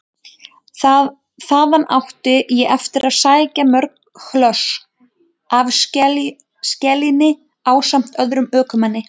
Þangað átti ég eftir að sækja mörg hlöss af skelinni ásamt öðrum ökumanni.